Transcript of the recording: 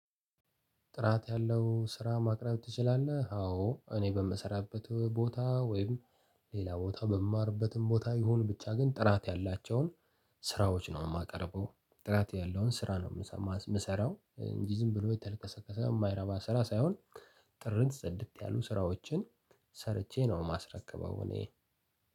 ጥራት ያለው ስራ ማቅረብ ትችላለ? አዎ እኔ በምሰራበት ቦታ ወይም ሌላ ቦታ በምማርበትም ቦታ ይሁን ብቻ ግን ጥራት ያላቸውን ስራዎች ነው የማቀርበው። ጥራት ያለውን ስራ ነው የምሰራው ዝም ብሎ የተለቀሰቀሰ የማይረባ ስራ ሳይሆን ጥርት ጽድት ያሉ ስራዎችን ሰርቼ ነው የማስረከበው እኔ።